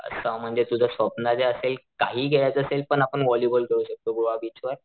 अच्छा म्हणजे तुझ स्वप्न जे असेल काही खेळायचं असेल पण आपण व्हॉलीबॉल खेळू शकतो गोवा बीचवर.